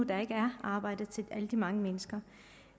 der ikke er arbejde til alle de mange mennesker